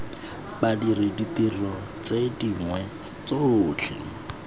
badiri ditiro tse dingwe tsotlhe